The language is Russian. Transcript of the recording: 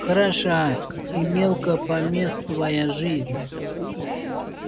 хороша и мелкопомествая жизнь